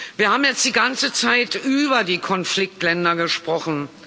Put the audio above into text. Wir haben jetzt die ganze Zeit über die Konfliktländer gesprochen.